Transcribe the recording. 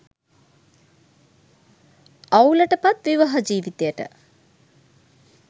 අවුලට පත් විවාහ ජීවිතයට